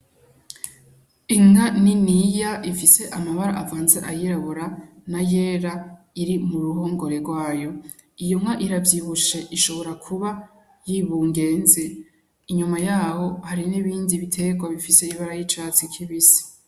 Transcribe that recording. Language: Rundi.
Inka niniya ifise amabara avanze ayirabura n'ayera iri mu ruhongore rwayo. Iyo nka iravyibushe, ishobora kuba yibungeze. Inyuma y'aho hari n'ibindi biterwa bifise ibara ry'icatsi kibisi.